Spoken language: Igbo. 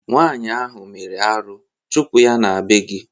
Nwaanyị ahụ mere arụ, chụpụ ya n'be gị!